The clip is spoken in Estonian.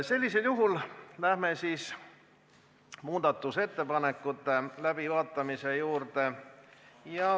Sellisel juhul läheme muudatusettepanekute läbivaatamise juurde.